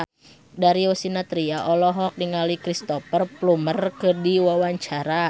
Darius Sinathrya olohok ningali Cristhoper Plumer keur diwawancara